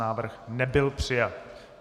Návrh nebyl přijat.